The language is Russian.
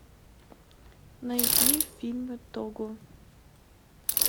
найди фильмы того